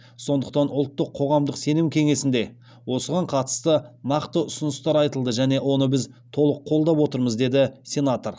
сондықтан ұлттық қоғамдық сенім кеңесінде осыған қатысты нақты ұсыныстар айтылды және оны біз толық қолдап отырмыз деді сенатор